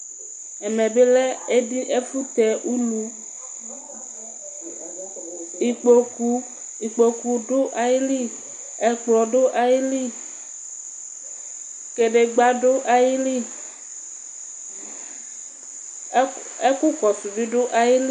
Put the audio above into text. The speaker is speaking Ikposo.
Ɛmɛ bi lɛ ɛfʋ tɛ ulu, ikpokʋ dʋ ayili ɛkplɔ dʋ ayili, kadegba dʋ ayili, ɛkʋkɔsʋ bi dʋ ayili